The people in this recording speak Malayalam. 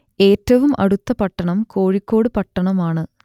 ഏറ്റവും അടുത്ത പട്ടണം കോഴിക്കോട് പട്ടണമാണ്